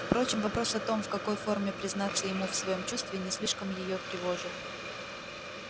впрочем вопрос о том в какой форме признаться ему в своём чувстве не слишком её тревожил